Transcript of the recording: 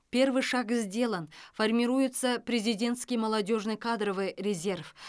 первый шаг сделан формируется президентский молодежный кадровый резерв